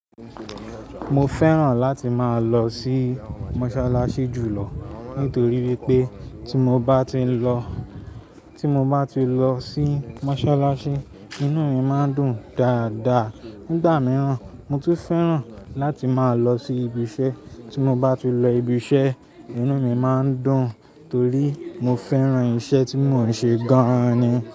Mo fẹ́ràn láti máa lọ sí mọ́ṣáláṣí jùlọ nítorí wípé tí mo bá ti ń lọ, tí mo bá ti lọ sí mọ́ṣáláṣí, inú mi máa ń dùn dáadáa. Nígbà mìíràn, mo tún fẹ́ràn láti máa lọ sí ibi iṣẹ́, tí mo bá ti lọ ibi iṣẹ́, inú mi máa ń dùn torí mo fẹ́ràn iṣẹ́ tí mò ń ṣe gan ni.